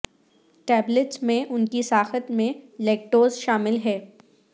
tablets میں ان کی ساخت میں لییکٹوز شامل ہے